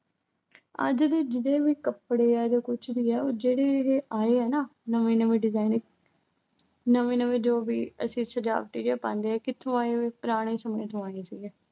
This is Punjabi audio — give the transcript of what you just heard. ਆ ਜਿਹੜੀ ਜਿਹੜੇ ਵੀ ਕੱਪੜੇ ਆ ਜਾਂ ਕੁਛ ਵੀ ਆ, ਉਹ ਜਿਹੜੇ-ਜਿਹੜੇ ਆਏ ਆ ਹਨਾ ਅਹ ਨਵੇਂ ਨਵੇਂ design ਨਵੇਂ ਨਵੇਂ ਜੋ ਵੀ ਅਸੀਂ ਸਜਾਵਟੀ ਜਾ ਪਾਉਣੇ ਆਂ, ਕਿੱਥੋਂ ਆਏ ਆ ਇਹੇ। ਪੁਰਾਣੇ ਸਮੇਂ ਚੋਂ ਆਂਦੇ ਸੀਗੇ।